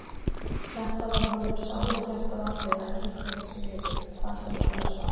Þetta var honum sáluhjálparatriði: Að kippa þessu í liðinn, hvað sem það annars var.